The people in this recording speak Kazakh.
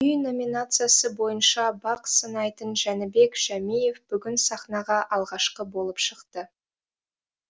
күй номинациясы бойынша бақ сынайтын жәнібек жәмиев бүгін сахнаға алғашқы болып шықты